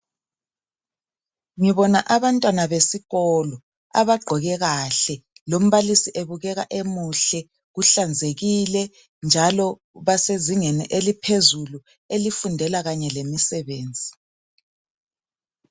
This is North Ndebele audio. Ngibona abantwana besikolo abagqoke kahle lombalisi ebukeka emuhle uhlanzekile njalo basezingeni eliphezulu elifundela kanye lemisebenzi .